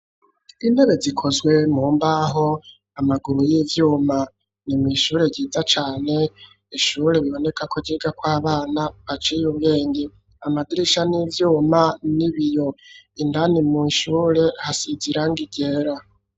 Intebe, zikozwe mu mbaho, amaguru y'ivyuma; ni mw'ishure ryiza cane, ishure biboneka ko, ryigako abana baciye ubwenge; amadirisha ni ivyuma, n'ibiyo; indani mushure hasize irangi ryera.